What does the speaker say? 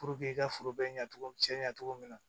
i ka foro bɛ ɲɛ cogo min cɛ ɲa cogo min na